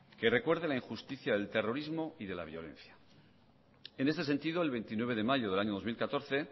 que recuerde la injusticia del terrorismo y de la violencia en este sentido el veintinueve de mayo del año dos mil catorce